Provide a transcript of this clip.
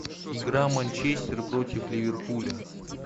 игра манчестер против ливерпуля